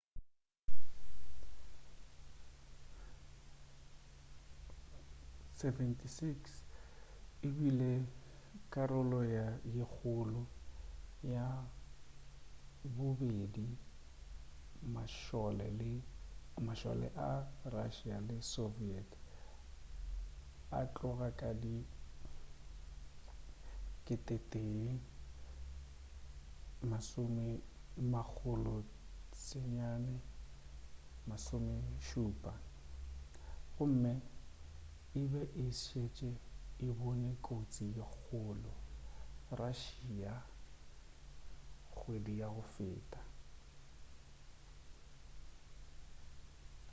il-76 e bile karolo ye kgolo ya bobedi mašole a russia le soviet go tloga ka di 1970 gomme e be e tšetše e bone kotsi ye kgolo russia kgwedi ya go feta